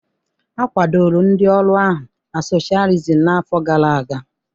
A kwadoro ndị ọrụ ahụ na socialism n'afọ gara aga